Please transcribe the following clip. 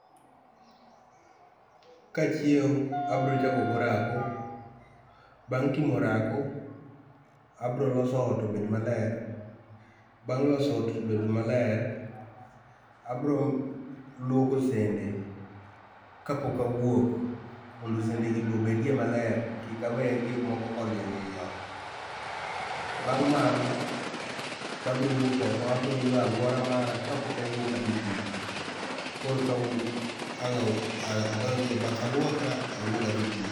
Kachiew abiro chako gi orako, bang’ timo orako abro loso ot obed maler, bang’ loso ot obed maler, abro luoko sende kapok awuok mondo sende gi bende obed maler, kik awe gik moko ka olil e ot. Bang’ mano, to abiro wuok oko, abiro yweyo aluora mara kapok awuok adhi tich, korka ang’ adonj e baf aluokra awuog adhi tich